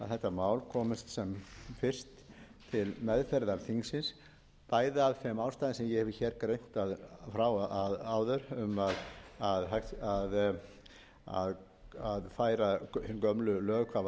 mál komist sem fyrst til meðferðar þingsins bæði af þeim ástæðum sem ég hef hér greint frá áður um að færa hin gömlu lög hvað varðar hvalveiðar